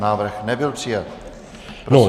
Návrh nebyl přijat.